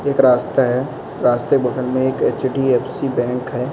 एक रास्ता है रास्ते बदल में एक एइच.डी.ऍफ़.सी बैंक है।